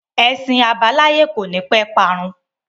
Ẹṣin àbáláyé kò ní pẹ́ parun